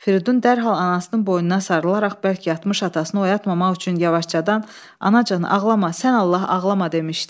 Firidun dərhal anasının boynuna sarılaraq bərk yatmış atasını oyatmamaq üçün yavaşcadan anacan ağlama, sən Allah ağlama demişdi.